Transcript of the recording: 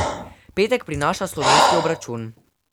Petek prinaša slovenski obračun.